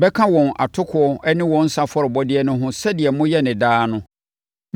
bɛka wɔn atokoɔ ne wɔn nsã afɔrebɔdeɛ no ho sɛdeɛ moyɛ no daa no.